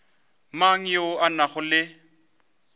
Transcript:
mang yo a nago le